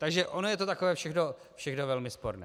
Takže ono je to takové všechno velmi sporné.